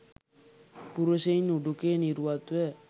පුරුෂයින් උඩුකය නිරුවත්ව